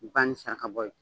banni ni saraka bɔ ye